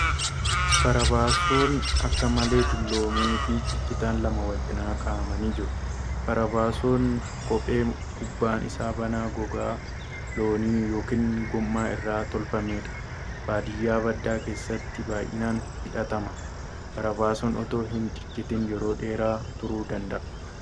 Barabaasoon akka malee dulloome fi ciccitan lama wal cinaa kaa'amanii jiru. Barabaasoon kophee gubbaan isaa banaa gogaa loonii yookan gommaa irraa tolfamuudha. Baadiyyaa badaa keessatti baay'inaan hidhatama. Barabaasoon otoo hin ciccitin yeroo dheeraa turuu danda'a.